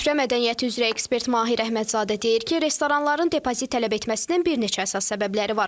Süfrə mədəniyyəti üzrə ekspert Mahir Əhmədzadə deyir ki, restoranların depozit tələb etməsinin bir neçə əsas səbəbləri var.